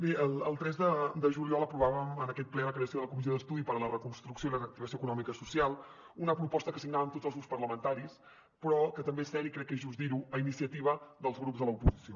bé el tres de juny aprovàvem en aquest ple la creació de la comissió d’estudi per a la reconstrucció i la reactivació econòmiques i socials una proposta que signàvem tots els grups parlamentaris però que també és cert i crec que és just dir ho a iniciativa dels grups de l’oposició